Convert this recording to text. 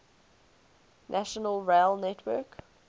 national rail network